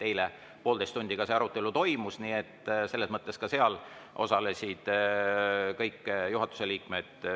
Eile poolteist tundi see arutelu toimus, ka seal osalesid kõik juhatuse liikmed.